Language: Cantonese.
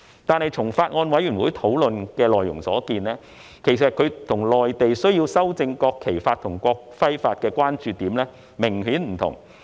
不過，從法案委員會的討論內容所見，我們與內地修正《國旗法》及《國徽法》的關注點明顯不同。